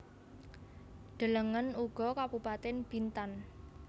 Delengen uga Kabupatèn Bintan